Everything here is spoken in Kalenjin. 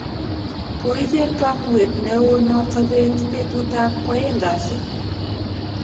Koicher kamuet neo noto beet betut ab kwaeng kasi